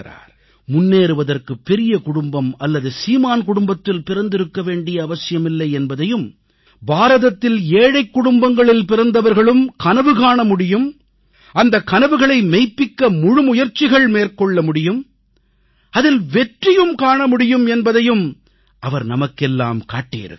முன்னேறுவதற்கு பெரிய குடும்பம் அல்லது சீமான் குடும்பத்தில் பிறந்திருக்க வேண்டிய அவசியமில்லை என்பதையும் பாரதத்தில் ஏழைக் குடும்பங்களில் பிறந்தவர்களும் கனவு காண முடியும் அந்தக் கனவுகளை மெய்ப்பிக்க முழுமுயற்சிகள் மேற்கொள்ள முடியும் அதில் வெற்றியும் காண முடியும் என்பதையும் அவர் நமக்கெல்லாம் காட்டியிருக்கிறார்